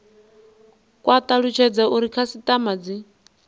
kwa talutshedza uri khasitama dzi